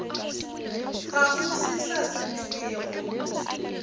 ga go se sa sepelego